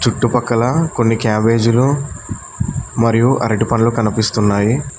చుట్టుపక్కల కొన్ని క్యాబేజీలు మరియు అరటి పండ్లు కనిపిస్తున్నాయి.